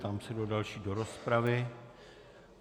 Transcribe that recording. Ptám se, kdo další do rozpravy.